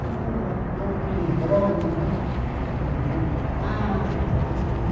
todo aquele embrolho, né, do Jango Goulart.